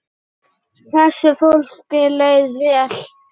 Þessu fólki leið vel.